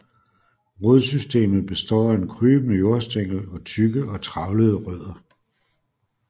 Rodsystemet består af en krybende jordstængel og tykke og trævlede rødder